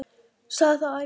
Sagði það ævinlega.